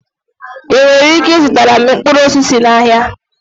Ị nwere ike ịzụtara m mkpụrụ osisi n'ahịa?